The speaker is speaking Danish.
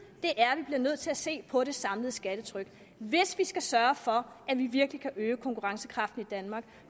er at vi bliver nødt til at se på det samlede skattetryk hvis vi skal sørge for at vi virkelig kan øge konkurrencekraften i danmark